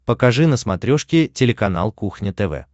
покажи на смотрешке телеканал кухня тв